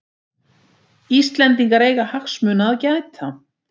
Íslendingar eiga hagsmuna að gæta